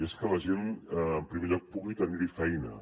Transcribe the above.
és que la gent en primer lloc pugui tenir hi feina